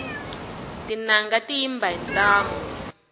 tinanga ti yimba hi ntamu